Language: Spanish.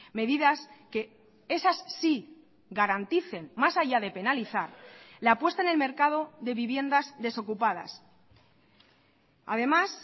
medidas que esas sí garanticen más allá de penalizar la apuesta en el mercado de viviendas desocupadas además